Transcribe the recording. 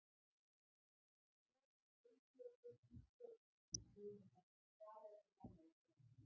Svona flengi ég þig Ísbjörg, stynur hann hvað eftir annað á meðan.